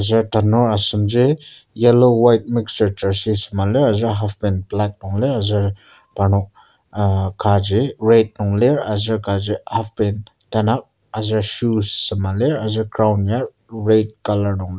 aser tanur asem ji yellow white mixture jersey aser half pant black nung lir aser parnok ah kaji red nung lir aser kaji half pant tanak aser shoes sema lir aser ground ya red colour nung lir.